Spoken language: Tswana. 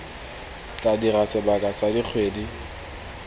tla dira sebaka sa dikgwedi